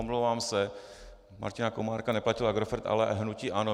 Omlouvám se, Martina Komárka neplatil Agrofert, ale hnutí ANO.